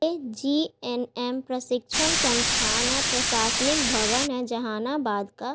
ये जी_एन_एम प्रशिक्षण संस्थान है प्रशासनिक भवन है जहानाबाद का ।